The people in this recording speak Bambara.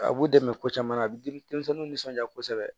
A b'u dɛmɛ ko caman na a bɛ di denmisɛnninw nisɔn kosɛbɛ